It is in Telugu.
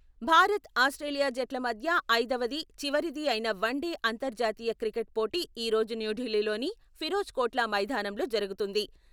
భారత్, ఆస్ట్రేలియా జట్ల మధ్య ఐదవది, చివరిది అయిన వన్ డే అంతరర్జాతీయ క్రికెట్ పోటీ ఈ రోజు న్యూఢిల్లీలోని ఫిరోజ్ కోట్లా మైదానంలో జరుగుతుంది.